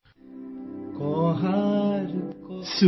Kannada sound clip 35 seconds Hindi translation